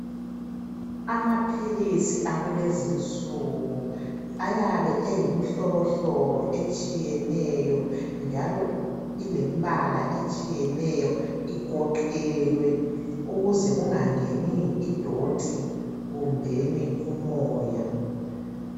Amaphilisi akulezi insuku ayabe eyimihlobohlobo etshiyeneyo njalo ilembala etshiyeneyo igoqelwe ukuze kungangeni idoti kumbeni umoya.